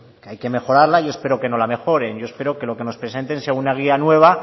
hay que mejorarla yo espero que no la mejoren yo espero que lo que nos presenten sea una guía nueva